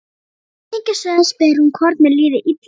Umhyggjusöm spyr hún hvort mér líði illa.